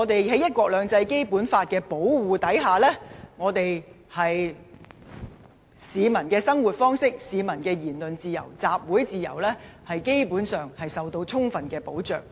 在"一國兩制"及《基本法》的保護下，市民的生活方式、言論自由及集會自由，基本上受到充分保障。